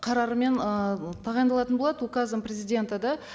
қарарымен ыыы тағайындалатын болады указом президента да